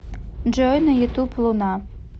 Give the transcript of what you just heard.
джой на ютуб луна